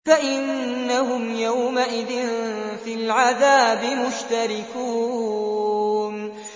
فَإِنَّهُمْ يَوْمَئِذٍ فِي الْعَذَابِ مُشْتَرِكُونَ